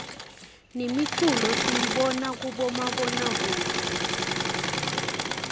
nemiculo siyibona kubomabonakudze